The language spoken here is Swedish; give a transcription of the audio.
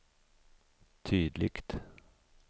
tydligt